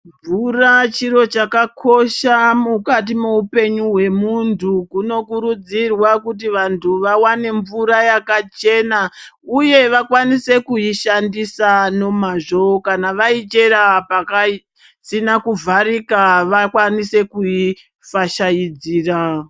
Mvura chiro chakakosha mukati moupenyu hwemuntu. Kunokurudzirwa kuti vantu vawane mvura yakachena uye vakwanise kuishandisa nomazvo kana vaichera pasina kuvharika vakwanise kuifashaidzira.